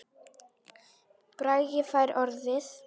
Bragi fær orðið